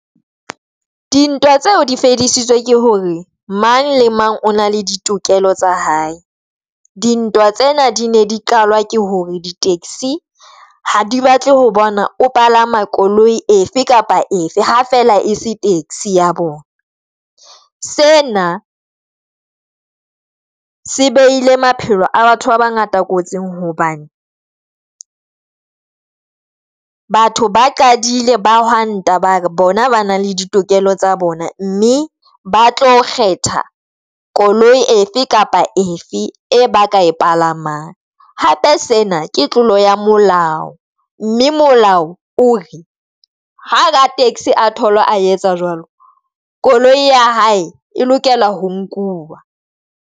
Dintwa tseo di fedisitswe ke hore mang le mang o na le ditokelo tsa hae. Dintwa tsena di ne di qalwa ke hore di-taxi ha di batle ho bona o palama koloi efe kapa efe, ha fela ese taxi ya bona. Sena se beile maphelo a batho ba bangata kotsing hobane batho ba qadile ba hwanta ba re bona ba na le ditokelo tsa bona, mme ba tlo kgetha koloi efe kapa efe e ba ka e palamang hape sena ke tlolo ya molao, mme molao o re ha ka taxi a thola a etsa jwalo koloi ya hae e lokelwa ho nkuwa.